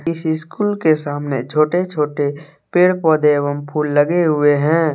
किसी स्कूल के सामने छोटे-छोटे पेड़ पौधे एवं फूल लगे हुए हैं।